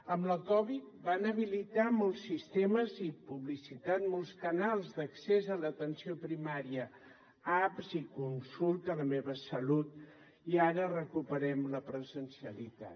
amb la covid vam habilitar molts sistemes i publicitat molts canals d’accés a l’atenció primària apps i consultes la meva salut i ara recuperem la presencialitat